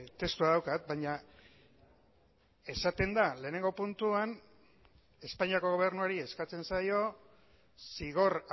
testua daukat baina esaten da lehenengo puntuan espainiako gobernuari eskatzen zaio zigor